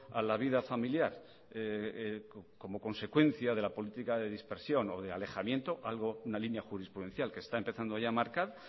a la vida familiar como consecuencia de la política de dispersión o de alejamiento una línea jurisprudencial que está empezando ya a marcar